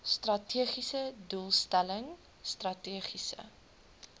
strategiese doelstelling strategiese